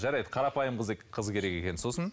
жарайды қарапайым қыз керек екен сосын